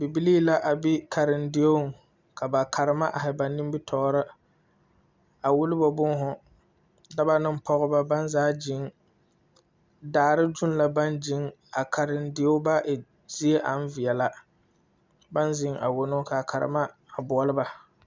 Bibilee la be karendieŋ kaa ba Karema are ba nimtɔɔri a wullo bɔɔhu dɔba ane pɔgeba baŋ gyiŋ daare gyuŋ la baŋ guiŋ a karendie ba e zie aŋ veɛla ba ziŋ a wono ka karema boɔlɔ ba.